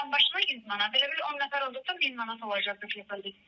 Adambaşına 100 manat, belə bir 10 nəfər olduğusa 1000 manat olacaqdır depozit.